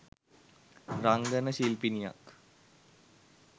රංගන ශිල්පිනියක්.